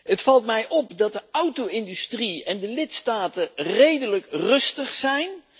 Het valt mij op dat de auto industrie en de lidstaten redelijk rustig zijn.